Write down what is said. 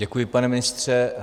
Děkuji, pane ministře.